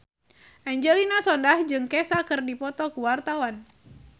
Angelina Sondakh jeung Kesha keur dipoto ku wartawan